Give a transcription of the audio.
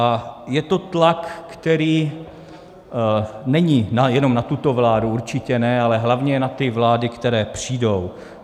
A je to tlak, který není jenom na tuto vládu, určitě ne, ale hlavně na ty vlády, které přijdou.